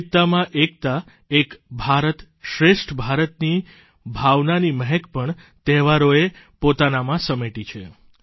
વિવિધતામાં એકતા એક ભારત શ્રેષ્ઠ ભારતની ભાવનાની મહેંક આપણા તહેવારોએ પોતાનામાં સમેટી છે